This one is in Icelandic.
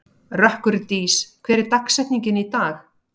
Rökkurdís, hver er dagsetningin í dag?